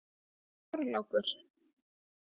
Þorlákur